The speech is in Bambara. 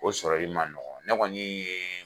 O sɔrɔli ma nɔgɔn ne kɔni ye